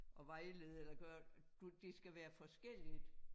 At vejlede eller gøre du det skal være forskelligt